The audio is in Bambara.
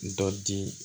Dɔ di